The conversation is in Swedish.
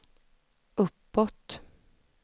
uppåt